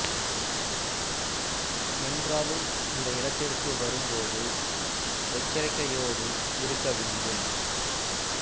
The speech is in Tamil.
என்றாலும் இந்த இடத்திற்கு வரும் போது எச்சரிக்கையோடு இருக்க வேண்டும்